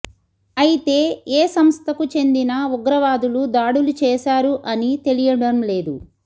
అయితే ఏ సంస్థకు చెందిన ఉగ్రవాదులు దాడులు చేశారు అని తెలియడం లేదు